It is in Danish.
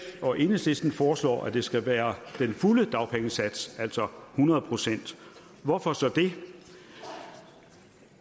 og enhedslisten foreslår at det skal være den fulde dagpengesats altså hundrede procent hvorfor så det